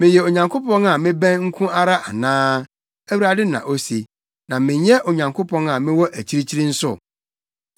“Meyɛ Onyankopɔn a mebɛn nko ara anaa,” Awurade na ose, “na menyɛ Onyankopɔn a mewɔ akyirikyiri nso?